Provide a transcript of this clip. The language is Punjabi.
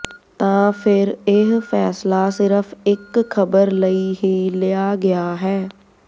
ਤਾਂ ਫਿਰ ਇਹ ਫੈਸਲਾ ਸਿਰਫ ਇਕ ਖ਼ਬਰ ਲਈ ਹੀ ਲਿਆ ਗਿਆ ਹੈ